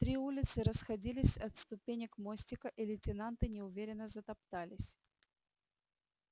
три улицы расходились от ступенек мостика и лейтенанты неуверенно затоптались